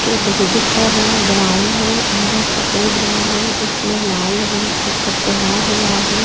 के बोर्ड का रंग ब्राउन हैं अंदर सफेद रंग हैं उसमे लाल रंग से कप बना हुआ हैं।